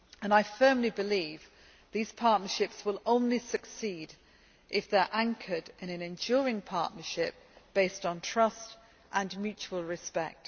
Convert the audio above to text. I firmly believe these partnerships will only succeed if they are anchored in an enduring partnership based on trust and mutual respect.